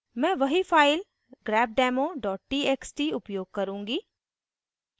मैं वही file grepdemo txt उपयोग करूँगी